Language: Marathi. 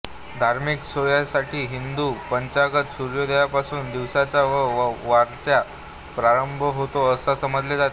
धार्मिक सोयींसाठी हिंदू पंचांगात सूर्योदयापासून दिवसाचा व वाराचा प्रारंभ होतो असे समजले जाते